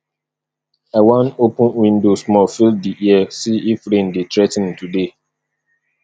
i wan open window small feel di air see if rain dey threa ten today